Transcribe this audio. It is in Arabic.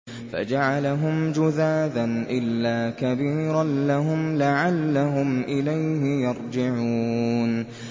فَجَعَلَهُمْ جُذَاذًا إِلَّا كَبِيرًا لَّهُمْ لَعَلَّهُمْ إِلَيْهِ يَرْجِعُونَ